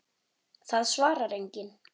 Það svarar enginn